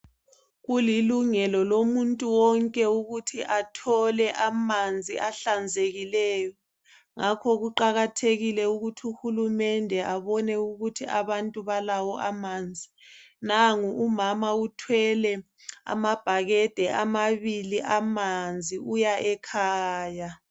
Kulilungelo lomuntu wonke ukuthi athole amanzi ahlanzekileyo. Ngakho kuqakathekile ukuthi uhulumende abone ukuthi abantu balawo amanzi. Nangu umama uthwele amabhakede amabili amanzi uya ekhaya.